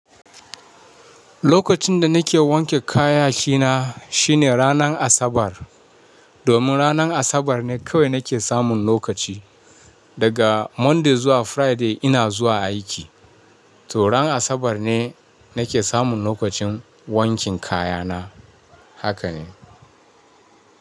Lokacin da nake wanke kayaki na shine ranar Asabar. Domin ranar Asabar ne kawai nake samun lokaci. Daga Monday zuwa Friday ina zuwa aiki. To ran Asabar ne nake samun lokacin wankin kaya na. Haka ne.